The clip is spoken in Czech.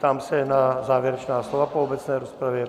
Ptám se na závěrečná slova po obecné rozpravě.